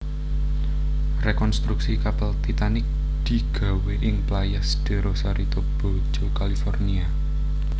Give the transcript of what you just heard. Rekontruksi kapal Titanic digawé ing Playas de Rosarito Baja California